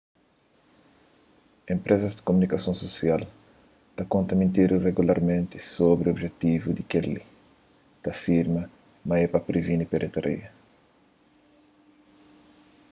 enpresas di kumunikason susial ta konta mentira regularmenti sobri objetivu di kel-li ta afirma ma é pa previni pirataria